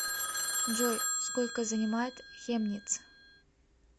джой сколько занимает хемниц